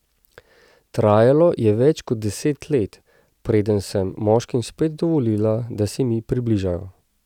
Trajalo je več kot deset let, preden sem moškim spet dovolila, da se mi približajo.